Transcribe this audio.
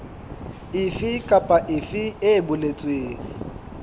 efe kapa efe e boletsweng